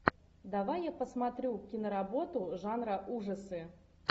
давай я посмотрю киноработу жанра ужасы